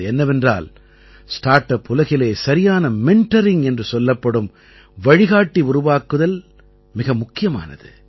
அது என்னவென்றால் start up உலகிலே சரியான மெண்டரிங் என்று சொல்லப்படும் வழிகாட்டி உருவாக்குதல் மிக முக்கியமானது